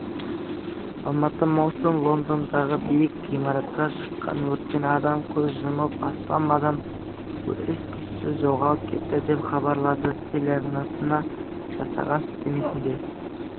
алматы маусым лондондағы биік ғимаратта шыққан өрттен адам көз жұмып астам адам із-түссіз жоғалып кетті деп хабарлады телеарнасына жасаған сілтемесінде